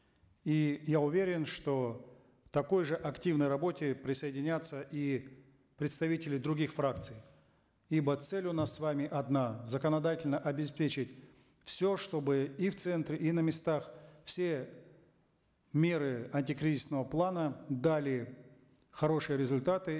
и я уверен что к такой же активной работе присоединятся и представители других фракций ибо цель у нас с вами одна законодательно обеспечить все чтобы и в центре и на местах все меры антикризисного плана дали хорошие результаты